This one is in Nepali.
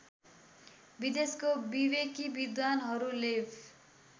विदेशको विवेकी विद्वानहरूलेव